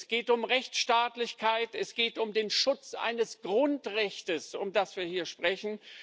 Es geht um Rechtsstaatlichkeit, es geht um den Schutz eines Grundrechts, von dem wir hier sprechen.